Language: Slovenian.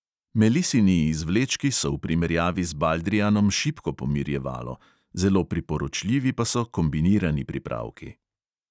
Melisini izvlečki so v primerjavi z baldrijanom šibko pomirjevalo, zelo priporočljivi pa so kombinirani pripravki.